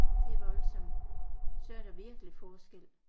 Det er voldsomt så er der virkelig forskel